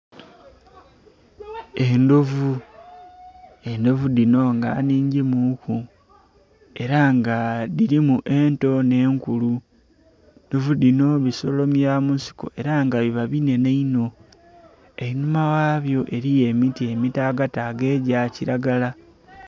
Endhovu, endhovu dhino nga nnhingimuku era nga dhirimu ento n'enkulu, endhovu dhino bisolo bya mu nsiko era nga biba binhenhe inho. Einhuma ghabyo eriyo emiti emitaagataaga egya kiragala.